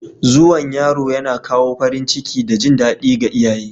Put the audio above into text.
Zuwan yaro yana kawo farin ciki da jin daɗi ga iyaye